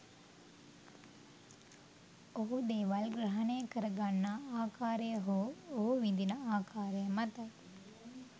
ඔහු දේවල් ග්‍රහණය කර ගන්නා ආකාරය හෝ ඔහු විඳින ආකාරය මතයි.